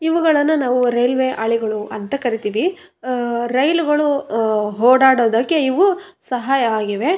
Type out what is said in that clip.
ಇವುಗಳನ್ನ ನಾವು ರೈಲ್ವೆ ಹಳಿಗಳು ಅಂತ ಕರೀತೀವಿ ಹಮ್ ರೈಲುಗಳು ಓಡಾಡೋದಕ್ಕೆ ಇವು ಸಹಾಯ ಆಗಿವೆ.